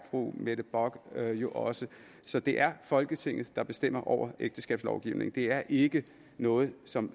fru mette bock jo også så det er folketinget der bestemmer over ægteskabslovgivningen det er ikke noget som